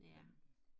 ja